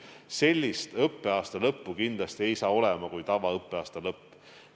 Sellist õppeaasta lõppu kindlasti ei tule nagu tavaõppeaasta lõpp.